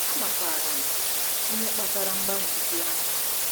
Amakwaara m ihe kpatara mgbanwe ndị ahụ.